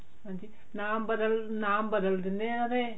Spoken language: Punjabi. ਹਾਂਜੀ ਨਾਮ ਬਦਲ ਨਾਮ ਬਦਲ ਦਿੰਨੇ ਆ ਉਹਦੇ